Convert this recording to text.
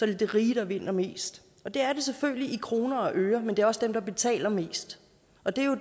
det de rige der vinder mest det er det selvfølgelig i kroner og øre men det er også dem der betaler mest